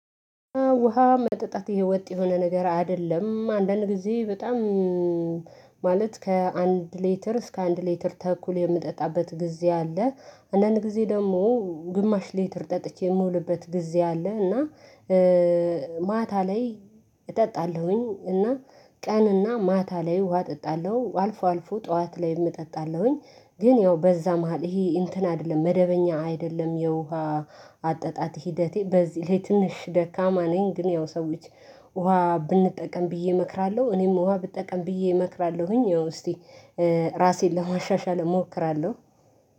ውሃ መጠጣት የወጥ የሆነ ነገር አይደለም አንዳንድ ጊዜ በጣም ማለት ከአንድ ሌተር እስከ አንድ ሌተር ተኩል የምጠጣበት ጊዜ አለ። አንዳንድ ጊዜ ደግሞ ግማሽ ሌተር ጠጥቼ የምውልበት ጊዜ አለ። እና ማታ ላይ እጠጣለሁኝ እና ቀንና ማታ ላይ ውሃ እጠጣለሁ። አልፎ አልፎ ጠዋት ላይ እጠጣለሁኝ ግን ያው በዛ መሃል ይሄ እንትን አይደለም መደበኛ አይደለም። የውሃ አጠጣጥ ሂደቴ በዚህ ላይ ትንሽ ደካማ ነኝ። ግን ያው ሰዎች ውሃ ብንጠቀም ብዬ እመክራለሁ እኔም ውሃ ብጠቀም ብዬ እመክራለሁኝ። ያው እስቲ ራሴን ለማሻሻል እሞክራለሁ።